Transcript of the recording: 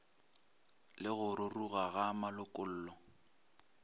le go ruruga ga malokollo